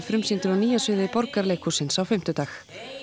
frumsýndur á Nýja sviði Borgarleikhússins á fimmtudag